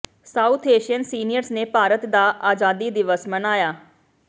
south Asian seniors ਨੇ ਭਾਰਤ ਦਾ ਆਜ਼ਾਦੀ ਦਿਵਸ ਮਨਾਇਆ